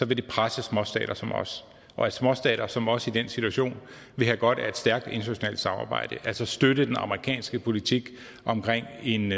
det presse småstater som os og at småstater som os i den situation vil have godt af et stærkt internationalt samarbejde altså støtte den amerikanske politik omkring en